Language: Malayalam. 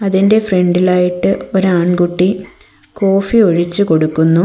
ഇതിൻ്റെ ഫ്രണ്ടിലായിട്ട് ഒരാൺ കുട്ടി കോഫി ഒഴിച്ച് കൊടുക്കുന്നു.